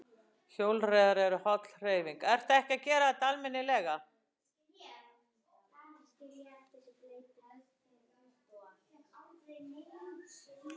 Hjólreiðar eru holl hreyfing